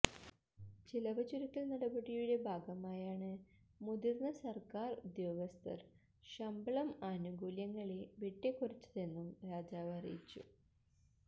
ചിലവ് ചുരുക്കല് നടപടിയുടെ ഭാഗമായാണ് മുതിര്ന്ന സര്ക്കാര് ഉദ്യോഗസ്ഥര് ശമ്പളം ആനുകൂല്യങ്ങളെ വെട്ടിക്കുറച്ചതെന്നും രാജാവ് അറിയിച്ചു